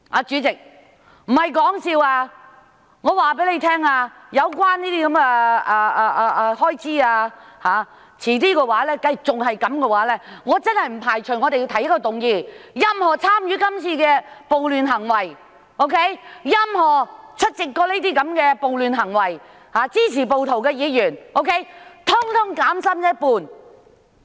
主席，我不是說笑，我要告訴大家，這種情況一旦持續下去，我真的不排除會提出一項議案，要求任何參與這次暴亂行為、曾經出席這些暴亂活動，以及支持暴徒的議員，通通減薪一半。